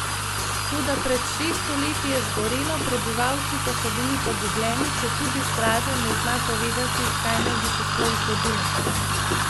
Toda pred šeststo leti je zgorelo, prebivalci pa so bili pogubljeni, četudi Straža ne zna povedati, kaj naj bi se sploh zgodilo.